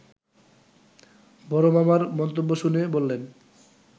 বড় মামার মন্তব্য শুনে বললেন